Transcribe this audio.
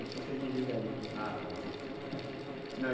Eu só fiz desligar ele, ah, está bom